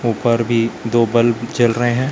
ऊपर भी दो बल्ब जल रहे हैं।